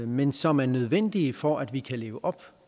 men som er nødvendige for at vi kan leve op